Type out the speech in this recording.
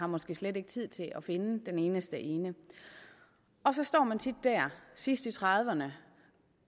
måske slet ikke tid til at finde den eneste ene og så står man tit der sidst i trediverne